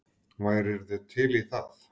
Værirðu til í það?